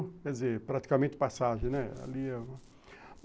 Quer dizer, praticamente passagem, né?